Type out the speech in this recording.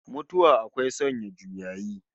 Mutuwa akwai sanya juyayi